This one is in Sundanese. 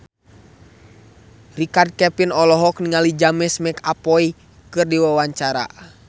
Richard Kevin olohok ningali James McAvoy keur diwawancara